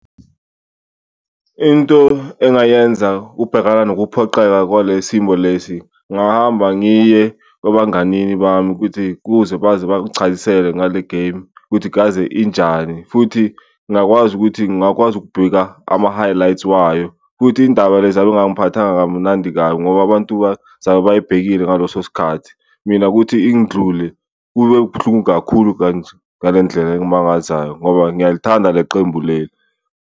Into engayenza ubhekana nokuphoqeka kwale simo lesi ngahamba ngiye kwabanganini bami ukuthi kuze baze bangichazisele ngale game ukuthi kaze injani futhi ngakwazi ukuthi ngakwazi ukubheka ama-highlight wayo. Futhi indaba lezi kamnandi kabi, ngoba abantu bazabe bayibhekile ngaleso sikhathi, mina kuthi ingindlule kube buhlungu kakhulu ngale ndlela engimangazayo ngoba ngiyalithanda le qembu leli.